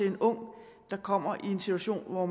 en ung der kommer i en situation hvor